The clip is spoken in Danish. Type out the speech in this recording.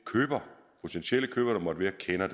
potentielle køber der måtte være kender